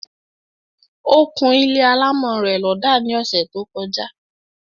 Ó kún ilé alámọ̀ rẹ̀ lọ́dà ní ọsẹ̀ tó; kọjá